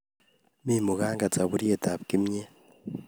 Mi munganget saburiet tab kimnyet